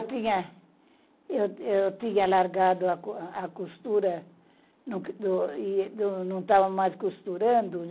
Eu tinha eu eu tinha largado a costura e não não não estava mais costurando.